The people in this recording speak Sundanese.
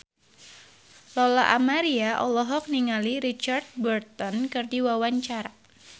Lola Amaria olohok ningali Richard Burton keur diwawancara